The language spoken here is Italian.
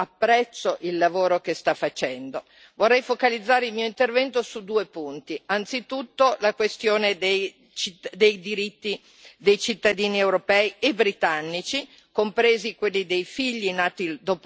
Vorrei focalizzare il mio intervento su due punti anzitutto, la questione dei diritti dei cittadini europei e britannici, compresi quelli dei figli nati dopo la Brexit o di eventuali nuovi matrimoni.